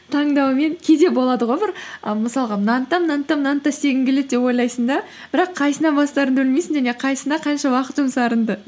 таңдаумен кейде болады ғой бір і мысалға мынаны да мынаны да мынаны да істегің келеді деп ойлайсың да бірақ қайсынан бастарыңды білмейсің және қайсысына қанша уақыт жұмсарыңды